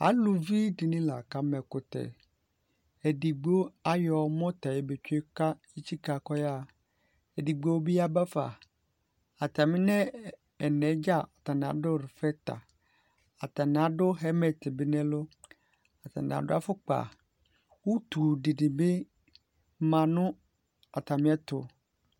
Aluvi dɩnɩ la kama ɛkʋtɛ Edigbo ayɔ mɔta yɛ betsue kʋ etsikǝ kʋ ɔyaɣa Edigbo bɩ yaba fa atamɩ nʋ ɛna yɛ dza atanɩ adʋ rfɛta, atanɩ adʋ ɣɛlmɛt bɩ nʋ ɛlʋ Atanɩ adʋ afʋkpa Utu dɩnɩ bɩ ma nʋ atamɩɛtʋ